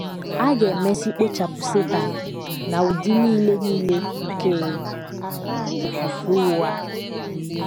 A ga - emesị kpochapụ Setan na ụdị nile nile nke ofufe ụgha.